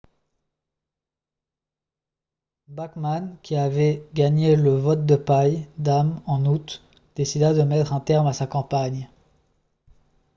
bachmann qui avait gagné le « vote de paille » d’âmes en août décida de mettre un terme à sa campagne